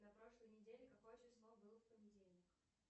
на прошлой неделе какое число было в понедельник